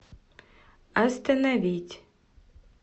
остановить